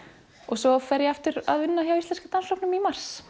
svo fer ég aftur að vinna hjá Íslenska dansflokknum í mars